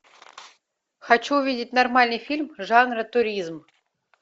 хочу увидеть нормальный фильм жанра туризм